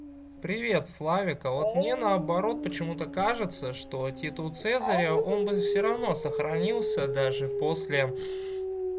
привет славик а вот мне наоборот почему-то кажется что титул цезаря он бы всё равно сохранился даже после